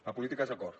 la política és acord